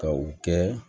Ka u kɛ